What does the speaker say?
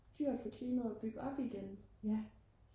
dyrt for klimaet at bygge op igen